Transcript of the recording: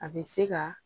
A bɛ se ka